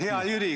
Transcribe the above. Hea Jüri!